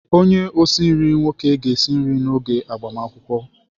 Onye osi nri nwoke ga-esi nri n'oge agbamakwụkwọ.